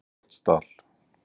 Reykholtsdal